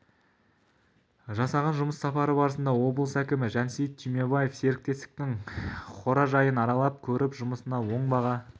жасаған жұмыс сапары барысында облыс әкімі жансейіт түймебаев серіктестіктің қоражайын аралап көріп жұмысына оң баға